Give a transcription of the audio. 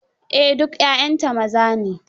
Yes all her children are males.